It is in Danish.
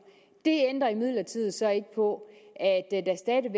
det ændrer imidlertid så ikke på